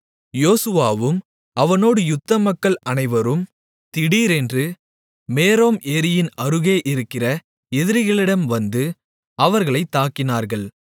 யோசுவாவும் அவனோடு யுத்த மக்கள் அனைவரும் திடீரென்று மேரோம் ஏரியின் அருகே இருக்கிற எதிரிகளிடம் வந்து அவர்களைத் தாக்கினார்கள்